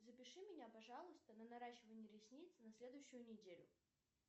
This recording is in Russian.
запиши меня пожалуйста на наращивание ресниц на следующую неделю